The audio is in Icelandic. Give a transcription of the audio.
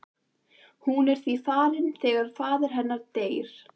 Hún er því farin þegar faðir hennar deyr.